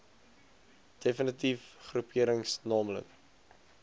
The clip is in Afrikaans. defnitiewe groeperings naamlik